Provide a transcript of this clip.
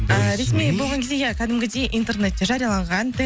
ііі ресми болған кезде иә кәдімгідей интернетте жарияланған